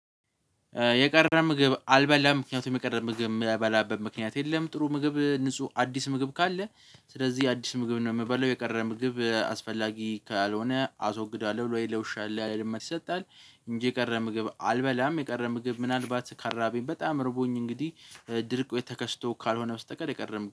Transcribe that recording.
የቀረ ምግብ አልበላም ምክንያቱም የቀረ ምግብ የምበላበት ምክንያት የለም ጥሩ ምግብ ንጹህ አዲስ ምግብ ካለ ስለዚህ አዲስ ምግብ ነው የምበለው የቀረ ምግብ አስፈላጊ ካልሆነ አስወግዳለዉ። ብሎ ለውሻ ለድመት ይሰጣል እንጂ የቀረ ምግብ አልበላም። የቀረ ምግብ ምናልባት ካልራብኝ በጣም አርቦኝ እንግዲህ ድርቁ ተከስቶ ካልሆነ በስተቀር የቀረበ